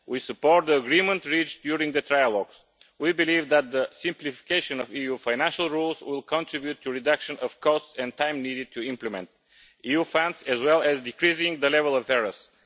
We support the agreement reached during the trilogues. We believe that the simplification of EU financial rules will contribute to reducing the costs and time needed to implement EU funds, as well as decreasing the level of errors.